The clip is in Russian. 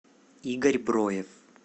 игорь броев